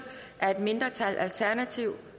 af et mindretal tiltrådt af